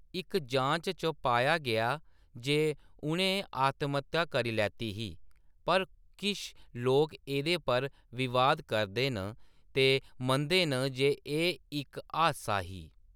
इक जांच च पाया गेआ जे उ’नैं आत्महत्या करी लैती ही, पर किश लोक एह्दे पर विवाद करदे न ते मनदे न जे एह् इक हादसा ही।